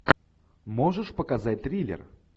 можешь показать триллер